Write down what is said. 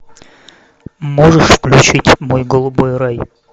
можешь включить мой голубой рай